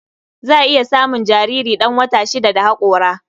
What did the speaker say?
Za a iya samun jariri ɗan wata shida da haƙora.